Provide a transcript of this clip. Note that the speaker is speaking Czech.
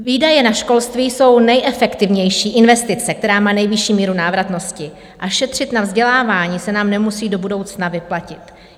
Výdaje na školství jsou nejefektivnější investice, která má nejvyšší míru návratnosti, a šetřit na vzdělávání se nám nemusí do budoucna vyplatit.